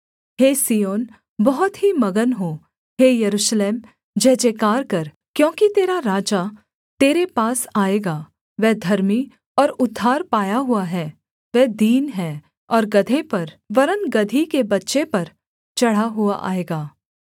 हे सिय्योन बहुत ही मगन हो हे यरूशलेम जयजयकार कर क्योंकि तेरा राजा तेरे पास आएगा वह धर्मी और उद्धार पाया हुआ है वह दीन है और गदहे पर वरन् गदही के बच्चे पर चढ़ा हुआ आएगा